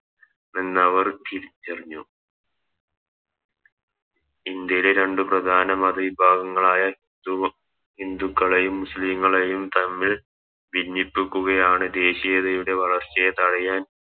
നവർ തിരിച്ചറിഞ്ഞു ഇന്ത്യയുടെ രണ്ട് പ്രധാന മത വിഭാഗങ്ങളായ ഹിന്ദുക്കളെയും മുസ്ലിങ്ങളെയും തമ്മിൽ ഭിന്നിപ്പിക്കുകയാണ് ദേശീയതയുടെ വളർച്ചയെ തടയാൻ എന്നവർ തിരിച്ചറിഞ്ഞു